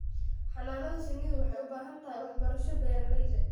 Xannaanada shinnidu waxay u baahan tahay waxbarasho beeralayda.